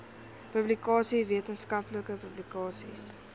publikasies wetenskaplike publikasies